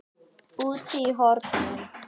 Úti í hornum.